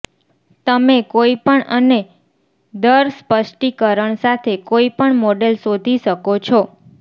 તમે કોઈપણ અને દર સ્પષ્ટીકરણ સાથે કોઇપણ મોડેલ શોધી શકો છો